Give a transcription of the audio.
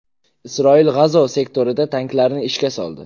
Isroil G‘azo sektorida tanklarni ishga soldi.